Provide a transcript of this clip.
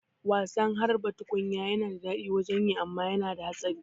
Wasan harba tukunya yana da daɗi wajen yi amma yana da hatsari